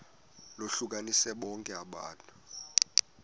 lohlukanise bonke abantu